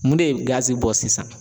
Mun de ye gazi bɔ sisan